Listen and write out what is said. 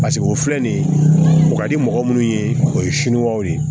Paseke o filɛ nin ye o ka di mɔgɔ minnu ye o ye siniwaw de ye